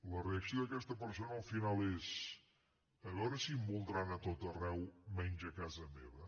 la reacció d’aquesta persona al final és a veure si em voldran a tot arreu menys a casa meva